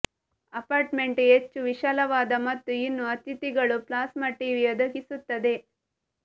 apartment ಹೆಚ್ಚು ವಿಶಾಲವಾದ ಮತ್ತು ಇನ್ನೂ ಅತಿಥಿಗಳು ಪ್ಲಾಸ್ಮಾ ಟಿವಿ ಒದಗಿಸುತ್ತದೆ